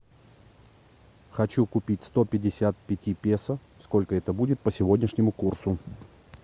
хочу купить сто пятьдесят пяти песо сколько это будет по сегодняшнему курсу